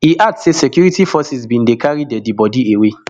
e add say security forces bin dey carry deadi bodi away